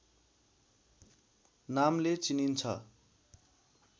नामले चिनिन्छ